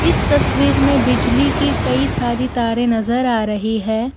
इस तस्वीर में बिजली की कई सारी तारे नजर आ रही है।